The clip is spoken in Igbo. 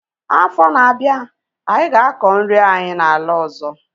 Afọ na-abịa, anyị ga-akọ nri anyị na ala ọzọ